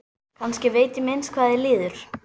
Kannski veit ég minnst hvað þér líður.